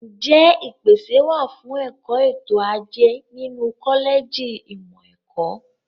Ǹjẹ́ ìpèsè wà fún ẹ̀kọ́ ètò ajé nínú kọ́lẹ̀jì ìmọ̀ ẹ̀kọ́?